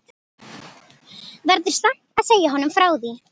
Verður samt að segja honum frá því.